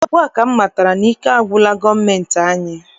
Ugbua ka m matara na ike agwụla gọọmentị anyị.